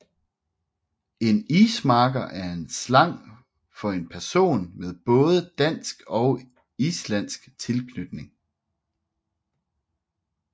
En ismarker er slang for en person med både dansk og islandsk tilknytning